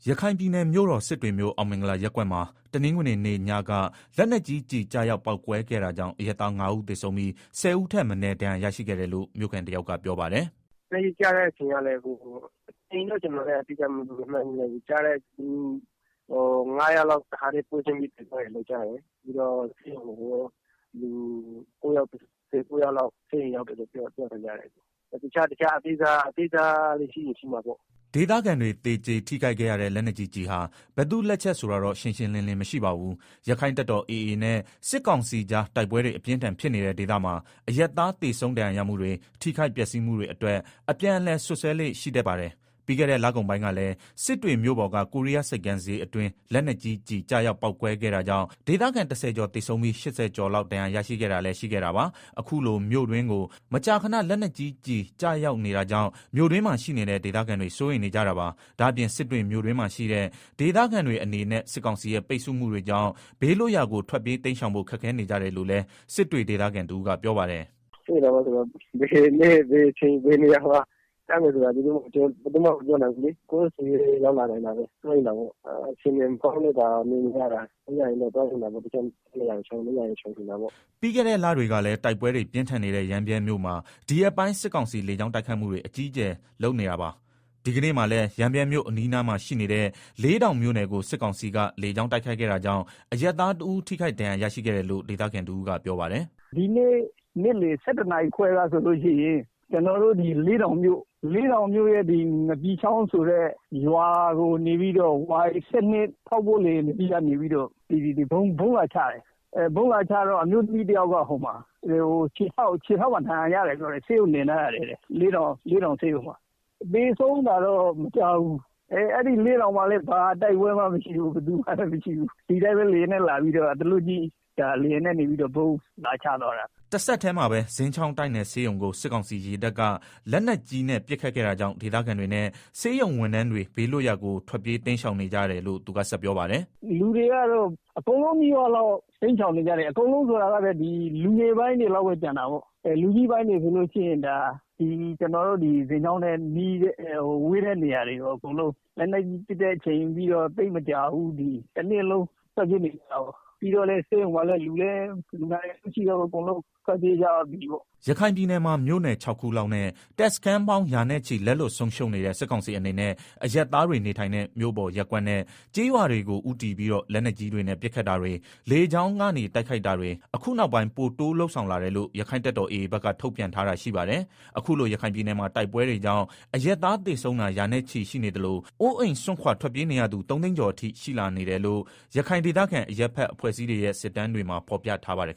ရခိုင်ပြည်နယ်မြို့တော် စစ်တွေမြို့ အောင်မင်္ဂလာရပ်ကွက်မှာ တနင်္ဂနွေနေ့ညပက လက်နက်ကြီးကျည်ကျရောက် ပေါက်ကွဲခဲ့တာကြောင့် အရပ်သား ၅ဦးသေဆုံးပြီး ၁ဝ ဦးထက်မနည်း ဒဏ်ရာရရှိခဲ့တယ်လို့ မြို့ခံတယောက်ကပြောပါတယ်။ “ လက်နက်ကြီးကျတဲ့ အချိန်ကိုတော့ ကျနော်အတိအကျမှတ်မိဘူး ၅ယောက်လောက် တခါတည်း ပွဲချင်းပြီး သေသွားတယ်လို့ ကြားတယ်၊ ပြီးတော့ ၉ ယောက် ၁ဝ ယောက်လောက် ဆေးရုံရောက်တယ်လို့ ပြောသံကြားတယ်။တခြား အသေးစားဒဏ်ရာရတာ တွေလည်း ရှိရင် ရှိမှာပေါ့။” ဒေသခံတွေ သေကျေထိခိုက်ခဲ့ရတဲ့ လက်နက်ကြီးကျည်ဟာ ဘယ်သူ့လက်ချက် ဆိုတာတော့ ရှင်းရှင်းလင်းလင်း မရှိပါဘူး။ ရက္ခိုင့်တပ်တော် AA နဲ့ စစ်ကောင်စီကြား တိုက်ပွဲတွေ အပြင်းအထန် ဖြစ်နေတဲ့ ဒေသမှာ အရပ်သား သေဆုံးဒဏ်ရာရမှုတွေ၊ ထိခိုက်ပျက်စီးမှုတွေအတွက် အပြန်အလှန် စွပ်စွဲလေ့ ရှိတတ်ပါတယ်။ ပြီးခဲ့တဲ့ လကုန်ပိုင်းကလည်း စစ်တွေမြို့ပေါ်က ကိုးရီးယားဆိပ်ကမ်းဈေးအတွင်း လက်နက်ကြီးကျည်ရောက်ပေါက်ကွဲခဲ့တာကြောင့် ဒေသခံ ၁ဝကျော် သေဆုံးပြီး ၈ဝကျော် လောက်ဒဏ်ရာရရှိခဲ့တာလည်းရှိခဲ့တာပါ။အခုလို မြို့တွင်းကို မကြာခဏလက် နက်ကြီး ကျည်ရောက်ကျရောက်နေတာကြောင့် မြို့တွင်းမှာ ရှိနေတဲ့ ဒေသခံတွေ စိုးရိမ်နေကြတာပါ။ ဒါ့အပြင် စစ်တွေမြို့တွင်းမှာရှိတဲ့ ဒေသခံတွေ အနေနဲ့စစ်ကောင်စီရဲ့ ပိတ်ဆို့မှုတွေကြောင့် ဘေးလွတ်ရာကို ထွက်ပြေးတိမ်းရှောင်ဖို့ ခက်ခဲနေကြတယ်လို့လည်း စစ်တွေဒေသခံတဦးကပြောပါတယ်။ “ ဘယ်နေ့ဘယ်အချိန် ဘယ်နေရာမှာ လက်နက်ကြီးကျမယ်ဆိုတာ ဘယ်သူမှမပြော နိုင်ဘူးလေ ကိုယ့်ဆီလည်း ရောက်လာနိုင်တာပဲ စိုးရိမ်တာပေါ့အခြေအနေမကောင်း လို့သာနေနေ ရတာ သွားလို့ရရင်တော့ တခြားနေရာတွေကို တိမ်းရှောင်ချင်တာပေါ့။” ပြီးခဲ့တဲ့ လတွေကတည်းက တိုက်ပွဲတွေ ပြင်းထန်နေတဲ့ ရမ်းဗြဲမြို့မှာ ဒီရက်ပိုင်း စစ်ကောင်စီလေကြောင်းတိုက်ခိုက်မှုတွေ အကြီးအကျယ်ရှိလုပ်နေတာပါ။ ဒီကနေ့မှာလည်း ရမ်းဗြဲအနီးအနားမှာရှိနေတဲ့ လေတောင်းမြို့နယ်ကို စစ်ကောင်စီက လေကြောင်းတိုက်ခိုက်ခဲ့တာကြောင့် အရပ်သားတဦးထိခိုက်ဒဏ်ရာရရှိခဲ့တယ်လို့ ဒေသခံတဦးကပြောပါတယ်။ “ ဒီနေ့ နေ့လည် ၁၁နာရီခွဲကဆိုလို့ရှိရင် လေးတောင်မြို့နယ်က ငပီချောင်းဆိုတဲ့ရွာကို Y12ထောက်ပို့လေယာဉ်တစီးကနေပြီးတော့ ဗုံးလာချတယ်၊ အမျိုးသမီးတယောက် ခြေထောက်မှာ ဒဏ်ရာရတယ် ဆေးရုံတင်ထားရတယ်လို့ ပြောတယ်၊ သေဆုံးတာတော့ မကြားဘူး၊ အဲဒီလေးတောင်မှာလည်း ဘာတိုက်ပွဲမှာ ဖြစ်တာမဟုတ်ဘူး ဒီအတိုင်းအသားလွတ်ကြီး ဗုံးလာကြဲတာ။” တဆက်တည်းမှာပဲ ဇင်ချောင်းတိုက်နယ်ဆေးရုံကို စစ်ကောင်စီရေတပ်က လက်နက်ကြီးတဲ့ ပစ်ခတ်ခဲ့တာကြောင့် ဒေသခံတွေနဲ့ ဆေးရုံဝန်ထမ်းတွေ ဘေးလွတ်ရာကို ထွက်ပြေးတိမ်း ရှောင်နေကြရတယ်လို့ သူကဆက်ပြောပါတယ်။ “ လူတွေကတော့ အကုန်လုံးနီးပါးလောက် တိမ်းရှောင်နေကြတယ်။ လူငယ်ပိုင်းတွေ လောက်ပဲကျန်တာပေါ့၊ လူကြီးပိုင်းတွေဆိုရင် ကျနော်တို့ ဇင်ချောင်းနဲ့ ဝေးတဲ့နေရာတွေကို လက်နက်ကြီးပစ်တဲ့အချိန်က စလို့တနေ့လုံးထွက်ပြေးနေကြတာပေါ့။ပြီးတော့ ဆေးရုံမှာလည်း လူလည်းမရှိတော့ဘူး လူနာတွေလည်း အကုန်ထွက်ပြေးကြပြီပေါ့။” ရခိုင်ပြည်နယ်မှာ မြို့နယ် ၆ ခုလောက်နဲ့ တပ်စခန်းပေါင်း ရာနဲ့ချီလက်လွတ်ဆုံးရှုံးနေတဲ့ စစ်ကောင်စီအနေနဲ့ အရပ်သားတွေ နေထိုင်တဲ့ မြို့ပေါ်ရပ်ကွက်နဲ့ ကျေးရွာတွေကို ဦးတည်ပြီးတော့ လက်နက်ကြီးတွေနဲ့ ပစ်ခတ်တာတွေ လေကြောင်းတိုက်ခိုက်တာတွေ အခုနောက်ပိုင်း ပိုတိုးလုပ်ဆောင်လာတယ်လို့ ရက္ခိုင့်တပ်တော် AA က ထုတ်ပြန်ထားပါတယ်။ အခုလို ရခိုင်ပြည်နယ်မှာ တိုက်ပွဲတွေကြောင့် အရပ်သားသေဆုံးတာ ရာနဲ့ချီရှိနေသလို အိုးအိမ်စွန့်ခွာထွက်ပြေးနေရသူ ၃သိန်းကျော်အထိရှိလာနေတယ်လို့ ရခိုင်ဒေသခံအရပ်ဘက် အဖွဲ့အစည်းတွေရဲ့ စစ်တမ်းတွေမှာ ဖော်ပြထားပါတယ်